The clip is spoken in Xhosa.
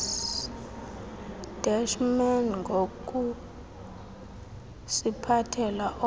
deshman ngokusiphathela olwa